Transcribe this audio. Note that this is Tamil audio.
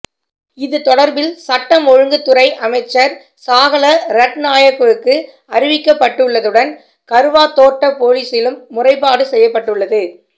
இது தொடர்பில் சட்டம் ஒழுங்குத்துறை அமைச்சர் சாஹல ரட்நாயக்கவுக்கு அறிவிக்கப்பட்டுள்ளதுடன் கறுவாத்தோட்ட பொலிஸிலும் முறைப்பாடு செய்யப்பட்டுள்ளது